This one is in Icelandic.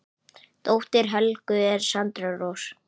Dóttir Helgu er Sandra Rós.